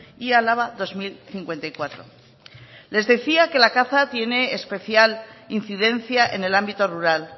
y álava dos mil cincuenta y cuatro les decía que la caza tiene especial incidencia en el ámbito rural